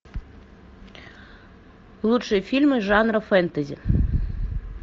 лучшие фильмы жанра фэнтези